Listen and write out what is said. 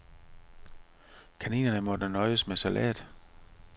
Kaninerne måtte nøjes med salat.